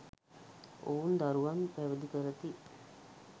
ඔවුන් දරුවන් පැවිදි කරති.